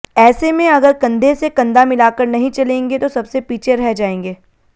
ऐसे में अगर कंधे से कंधा मिलाकर नही चलेंगे तो सबसे पीछे रह जाएंगे